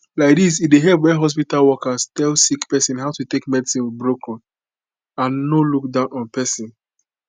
laidis e dey help wen hospitol workers tell sick pesin how to take medicine with broken and no look down on pesin